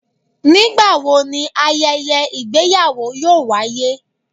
Nigbawo ni ayẹyẹ igbeyawo yoo waye?